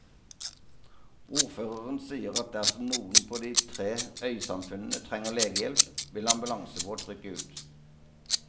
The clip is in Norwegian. Ordføreren sier at dersom noen på de tre øysamfunnene trenger legehjelp, vil ambulansebåt rykke ut.